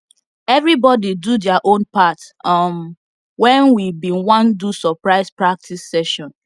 everybody do their own part um when we bin want do surprise practice session